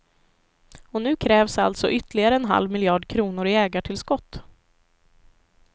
Och nu krävs alltså ytterligare en halv miljard kronor i ägartillskott.